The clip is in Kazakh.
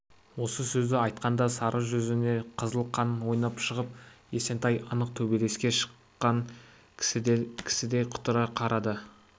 осы сөзді айтқанда сары жүзіне қызыл қан ойнап шығып есентай анық төбелеске шыққан кісідей құтыра қарады